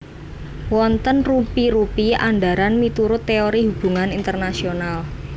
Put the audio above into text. Wonten rupi rupi andharan miturut teori hubungan internasional